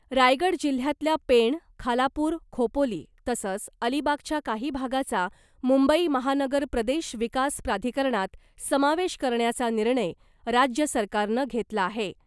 रायगड जिल्हयातल्या पेण , खालापूर , खोपोली तसंच अलिबागच्या काही भागाचा मुंबई महानगर प्रदेश विकास प्राधिकरणात समावेश करण्याचा निर्णय राज्य सरकारनं घेतला आहे .